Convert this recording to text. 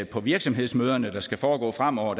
på virksomhedsmøderne der skal foregå fremover